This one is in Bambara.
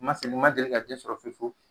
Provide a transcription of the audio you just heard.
Ma seli ma deli ka den sɔrɔ fefewu